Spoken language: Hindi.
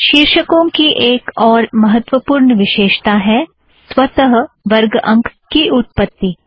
शीर्षकों का एक और महत्त्वपूर्ण विशेषता है स्वत वर्ग अंक की उत्पत्ति